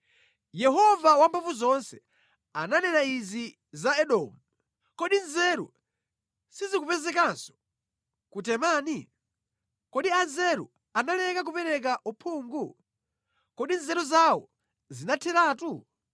Yehova Wamphamvuzonse ananena izi za Edomu: “Kodi nzeru sizikupezekanso ku Temani? Kodi anzeru analeka kupereka uphungu? Kodi nzeru zawo zinatheratu?